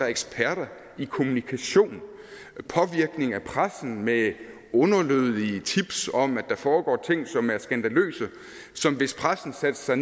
eksperter i kommunikation påvirkning af pressen med underlødige tips om at der foregår ting som er skandaløse hvis pressen satte sig